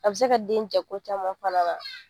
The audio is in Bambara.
A bi se ka den jɛ ko caman fana na.